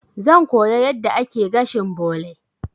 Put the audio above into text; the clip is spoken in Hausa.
Zan koya yadda ake gashin bole.